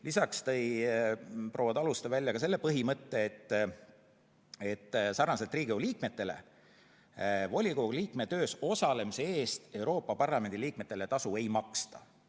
Lisaks tõi proua Taluste välja põhimõtte, et sarnaselt Riigikogu liikmetele volikogu liikme töös osalemise eest Euroopa Parlamendi liikmetele tasu ei maksta.